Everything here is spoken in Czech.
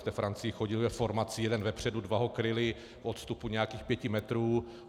V té Francii chodili ve formaci jeden vpředu, dva ho kryli v odstupu nějakých pěti metrů.